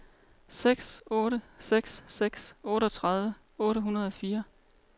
seks otte seks seks otteogtredive otte hundrede og fire